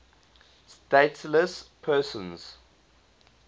stateless persons